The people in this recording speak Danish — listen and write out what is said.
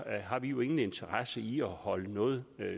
har vi vi ingen interesse i at holde noget